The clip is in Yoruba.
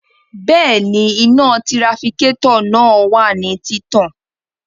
Bẹẹni, ina tirafikatọ naa wa ni titan